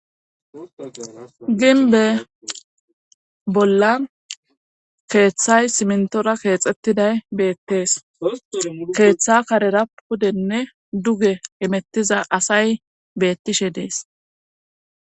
Ginbe bolla keeththay simntora keexettiday beettees keeththa karera pudenne duge emettiza asay beettishe dees.